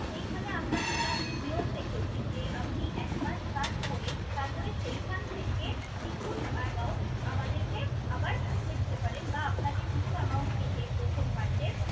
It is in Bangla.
সেইখানে আমরা একটা নিয়ম রেখেছি যে আপনি একমাস কাজ করে তারপরে সেখান থেকে কিছু amount আমাদেরকে আবার পাঠিয়ে দিতে পারেন বা আপনাকে কিছু amount কেটে প্রথম মাসে